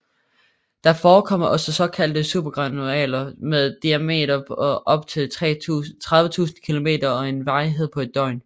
Der forekommer også såkaldte supergranuler med diameter på op til 30000 km og en varighed på et døgn